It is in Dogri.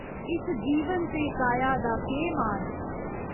इस जीवन ते काया दा केह् मान?